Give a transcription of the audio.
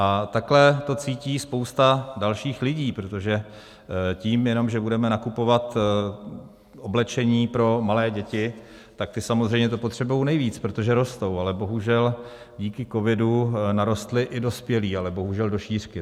A takhle to cítí spousta dalších lidí, protože tím jenom, že budeme nakupovat oblečení pro malé děti, tak ty samozřejmě to potřebují nejvíc, protože rostou, ale bohužel díky covidu narostli i dospělí, ale bohužel do šířky.